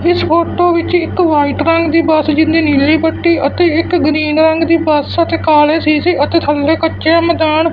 ਇਸ ਫੋਟੋ ਵਿੱਚ ਇੱਕ ਵਾਈਟ ਰੰਗ ਦੀ ਬੱਸ ਜੀਦੀ ਨੀਲੀ ਪੱਟੀ ਅਤੇ ਇੱਕ ਗਰੀਨ ਰੰਗ ਦੀ ਬੱਸ ਅਤੇ ਕਾਲੇ ਸ਼ੀਸ਼ੇ ਅਤੇ ਥੱਲੇ ਕੱਚਾ ਜਿਹਾ ਮੈਦਾਨ--